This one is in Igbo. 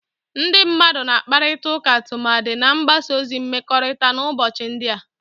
Ndị mmadụ na-akparịta ụka tumadi na mgbasa ozi mmekọrịta n'ụbọchị ndị a